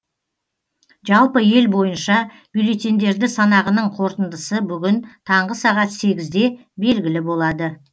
жалпы ел бойынша бюллетеньдерді санағының қорытындысы бүгін таңғы сағат сегізде белгілі болады